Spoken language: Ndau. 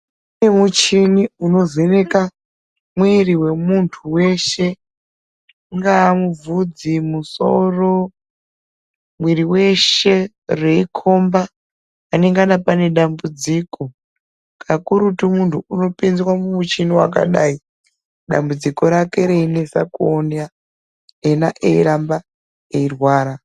Kune muchini unovheneka mwiri wemuntu weshe ungaa muvhudzi musoro mwiri weshe reikhomba panenge pane dambudziko kakurutu muntu unopinzwe mumuchini wekadai dambudziko rake reinetsa kuona iyena eiramba eirwara